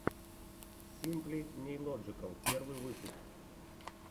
симпли нейлоджикал первый выпуск